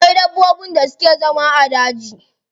Akwai dabbobin da suke zama a daji.